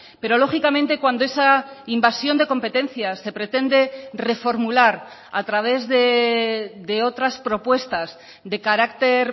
pero lógicamente cuando esa invasión de competencias se pretende reformular a través de otras propuestas de carácter